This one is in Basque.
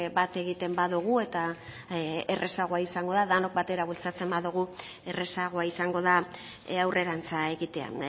bat egiten badugu eta errazagoa izango da denok batera bultzatzen badugu errazagoa izango da aurrerantza egitea